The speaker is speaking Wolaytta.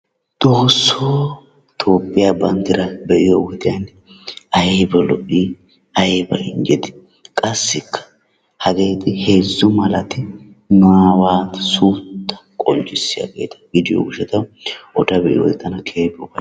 Xoosso! Toophiya banddraa be'iyo wode aybba lo''i! aybba injjetii qassikka hagee heezzu malati nu aawatu suutta qonccissiyaageeta gidiyo gishshaw eta be'iyoode tana keehi lo'ees.